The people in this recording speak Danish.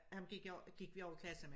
Ham gik jeg gik vi også i klasse med